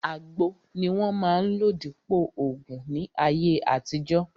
Àgbo ni wọ́n máa ń lò dípòo ògùn ní ayé àtijọ́